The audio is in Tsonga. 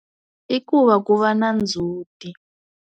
I ku va ku va na ndzhuti.